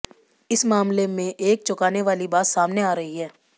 इस मामले में एक चौंकाने वाली बात सामने आ रही है